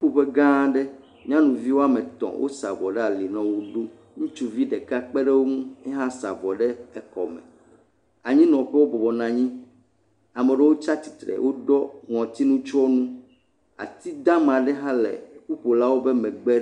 Ƒuƒuƒe gãa aɖe. Nyɔnuvi woame tɔ̃. Wosa avɔ ɖe ali nɔ wɔ ɖum. Ŋutsuvi ɖeka kpe ɖe wo ŋu. ya hã sa avɔ ɖe ekɔme. Anyinɔƒewo bɔbɔ nɔ anyi. Ame aɖewo tsa tsi tre. Woɖɔ ŋɔtinutsyɔnu. Atidama aɖe tsɛ le ƒuƒolawo ƒe megbe.